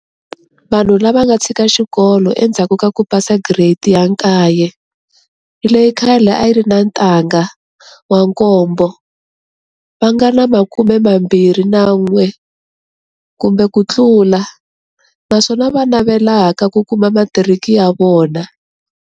Vanhu lava nga tshika xikolo endzhaku ka ku pasa Giredi ya 9, leyi khale a yi ri na Ntangha 7, va nga na 21 kumbe kutlula, naswona va navelaka ku kuma matiriki ya vona.